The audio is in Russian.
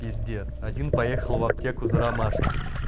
пиздец один поехал в аптеку за ромашкой